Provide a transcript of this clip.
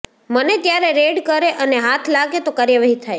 મને ત્યારે રેડ કરે અને હાથ લાગે તો કાર્યવાહી થાય